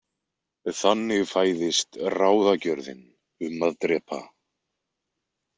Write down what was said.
Þannig fæðist ráðagjörðin um að drepa.